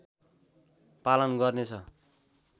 पालन गर्नेछ